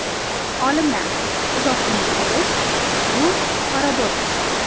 Olimlar: uzoq umr ko‘rish – bu paradoks.